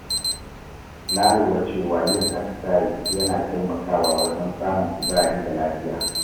Na lura cewa yin atisaye yana taimakawa wajen samun kuzari da lafiya.